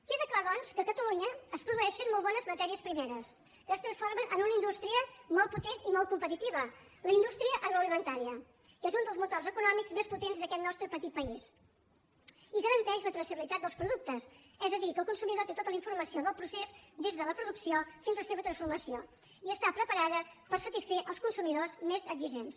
queda clar doncs que a catalunya es produeixen molt bones matèries primeres que es transformen en una indústria molt potent i molt competitiva la indústria agroalimentària que és un dels motors econòmics més potents d’aquest nostre petit país i garanteix la traçabilitat dels productes és a dir que el consumidor té tota la informació del procés des de la producció fins a la seva transformació i està preparada per satisfer els consumidors més exigents